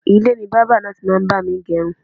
Ilé ni bábà náà ti máa ń bá mi gẹ irun